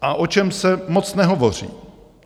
A o čem se moc nehovoří?